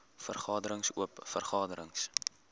vergaderings oop vergaderings